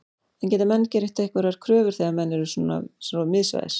En geta menn gert einhverjar kröfur þegar menn eru svo miðsvæðis?